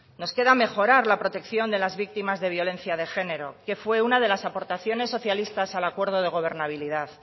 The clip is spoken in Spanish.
nos queda mejorar la protección de las víctimas de violencia de género que fue una de las aportaciones socialistas al acuerdo de gobernabilidad